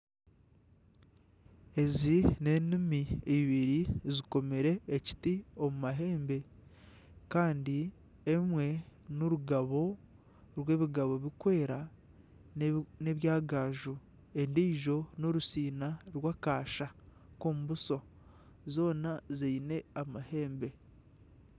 Ezi n'enumi ibiri zikomire ekiti omu mahembe Kandi emwe ni rugabo rw'ebigabo biri kweera nebya gaaju. Endijo ni rusiina rw'akaasha k'omubuso. Zoona ziine amaheembe.